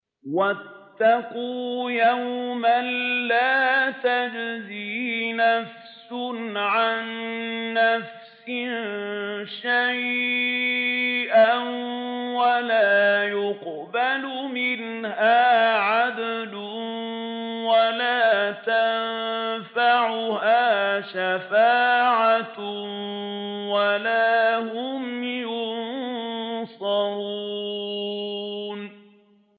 وَاتَّقُوا يَوْمًا لَّا تَجْزِي نَفْسٌ عَن نَّفْسٍ شَيْئًا وَلَا يُقْبَلُ مِنْهَا عَدْلٌ وَلَا تَنفَعُهَا شَفَاعَةٌ وَلَا هُمْ يُنصَرُونَ